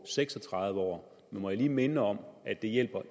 seks og tredive år men må jeg lige minde om at det